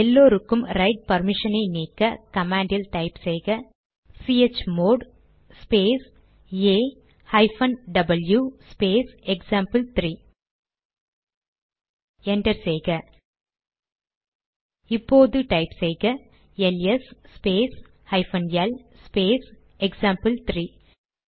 எல்லோருக்கும் ரைட் பர்மிஷனை நீக்க கமாண்ட் டைப் செய்க chmod space A hyphen W space example three enter செய்க இப்போது டைப் செய்க L S space hyphen L space எக்சாம்பிள்3